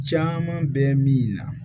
Caman bɛ min na